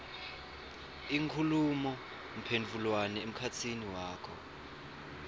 inkhulumomphendvulwano emkhatsini wakho